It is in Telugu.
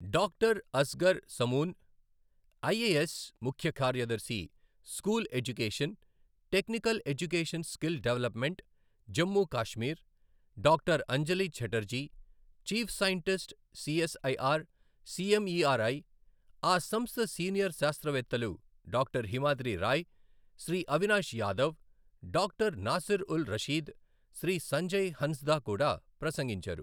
డాక్టర్ అస్గర్ సమూన్, ఐఏఎస్, ముఖ్య కార్యదర్శి, school education, technical education skill development, Jammu Kashmir, doctor Anjali Chatterjee, chief scientist, CSIR CMERI, ఆ సంస్థ సీనియర్ శాస్త్రవేత్తలు డాక్టర్ హిమాద్రి రాయ్, శ్రీ అవినాష్ యాదవ్, డాక్టర్ నాసిర్ ఉల్ రషీద్, శ్రీ సంజయ్ హన్స్దా కూడా ప్రసంగించారు.